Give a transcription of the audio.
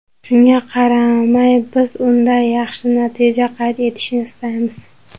Shunga qaramay, biz unda yaxshi natija qayd etishni istaymiz.